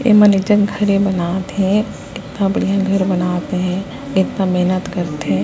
ए मन एजग घर बना थे इतना बढ़िया घर बना थे इतना मेहनत कर थे।